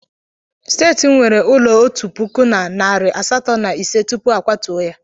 Steeti m nwere ulo otu puku na narị asatọ na ise tupu a kwatuo ya.